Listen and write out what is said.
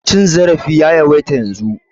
Cin zarafi ya yawaita yanzun.